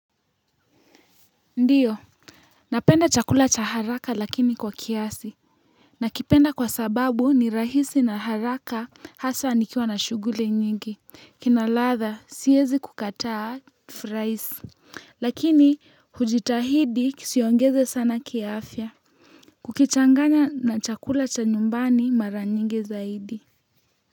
Ndiyo, napenda chakula cha haraka lakini kwa kiasi nakipenda kwa sababu ni rahisi na haraka hasa nikiwa na shuguli nyingi kina ladha siyezi kukataa fraisi lakini hujitahidi kisiongeze sana kiafya kukichanganya na chakula cha nyumbani mara nyingi zaidi.